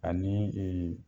Anii